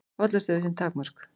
Hollusta hefur sín takmörk